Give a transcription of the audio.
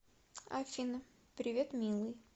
афина привет милый